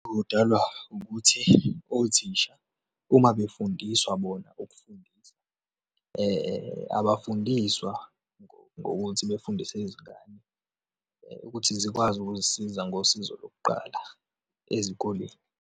Kudalwa ukuthi othisha uma befundiswa bona ukufundisa, abafundiswa ngokuthi befundise izingane ukuthi zikwazi ukuzisiza ngosizo lokuqala ezikoleni.